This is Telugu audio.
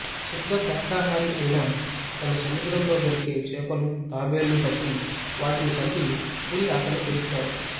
శుద్ధ శాకాహారి అయిన తను సముద్రంలో దొరికే చేపలూ తాబేళ్ళూ పట్టి వాటిని చంపి పులి ఆకలి తీరుస్తాడు